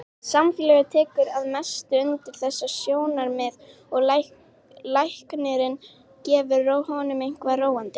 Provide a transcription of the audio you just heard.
Samfélagið tekur að mestu undir þessi sjónarmið og læknirinn gefur honum eitthvað róandi.